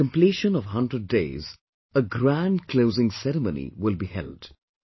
On the completion of a hundred days, a grand closing ceremony will be held